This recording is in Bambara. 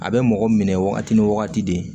A bɛ mɔgɔ minɛ wagati ni wagati de